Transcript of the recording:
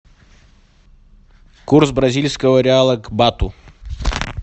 курс бразильского реала к бату